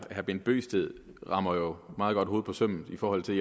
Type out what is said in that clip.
herre bent bøgsted rammer jo meget godt hovedet på sømmet i forhold til